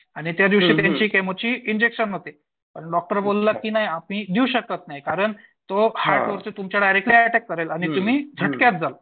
आणि त्या दिवशी त्यांची केमोचे इंजेक्शन होते आणि डॉक्टर बोलाल की आपण देऊ शकत नाही कारण तो हार्ट वरती तुमच्या डायरेक्ट अटॅक करेल आणि तुम्ही झडतक्यात जाल